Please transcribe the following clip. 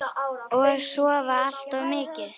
Og sofa allt of mikið.